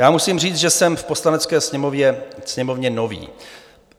Já musím říct, že jsem v Poslanecké sněmovně nový.